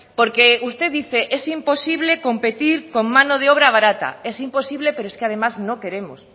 porque usted dice es imposible competir con mano de obra barata es imposible pero es que además no queremos